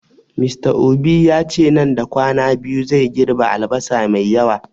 Mr obi yace nan da kwana biyu zai girɓe albasa mai yawa